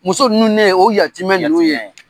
Muso ninnu de ye o yatimɛ ninnu ye